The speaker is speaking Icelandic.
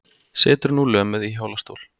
Situr nú lömuð í hjólastól.